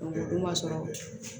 o ma sɔrɔ